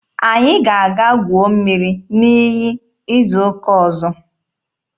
Anyị ga-aga guo mmiri n'iyi izu ụka ọzọ.